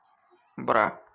бра